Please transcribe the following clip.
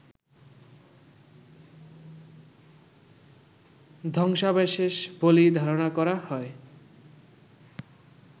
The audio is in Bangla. ধ্বংসাবশেষ বলেই ধারণা করা হয়